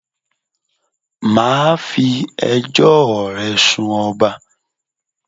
Mà a fi ẹjọ́ ò re sun ọba